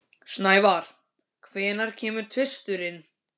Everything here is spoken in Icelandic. Snævar, hvenær kemur tvisturinn?